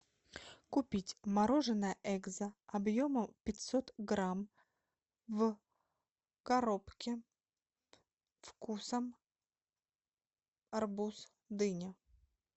купить мороженое экзо объемом пятьсот грамм в коробке вкусом арбуз дыня